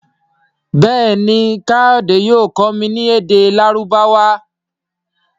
Béèni kayode yóò kọ mí ní èdè Lárúbáwá.